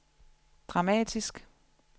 dramatisk